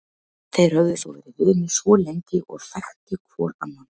Þeir höfðu þó verið vinir svo lengi og þekktu hvor annan.